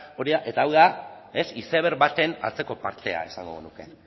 eta hau da izeberg baten atzeko partea esango genuke